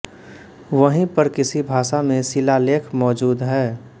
वहीं पर किसी भाषा में शिलालेख मौजूद है